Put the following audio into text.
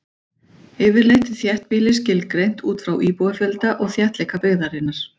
Yfirleitt er þéttbýli skilgreint út frá íbúafjölda og þéttleika byggðarinnar.